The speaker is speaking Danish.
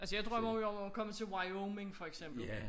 Altså jeg drømmer jo om og komme til Wyoming for eksempel